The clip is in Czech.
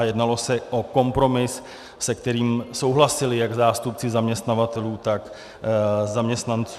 A jednalo se o kompromis, se kterým souhlasili jak zástupci zaměstnavatelů, tak zaměstnanců.